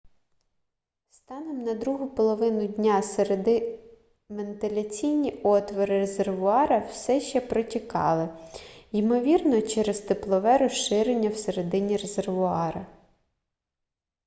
станом на другу половину дня середи вентиляційні отвори резервуара все ще протікали ймовірно через теплове розширення всередині резервуара